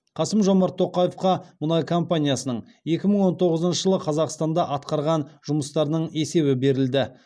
қасым жомарт тоқаевқа мұнай компаниясының екі мың он тоғызыншы жылы қазақстанда атқарған жұмыстарының есебі берілді